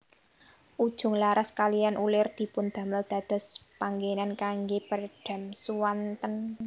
Ujung laras kaliyan ulir dipundamel dados panggenan kangge peredam suanten